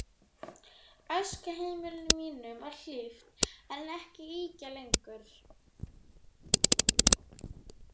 Æskuheimili mínu var hlíft en ekki ýkja lengi.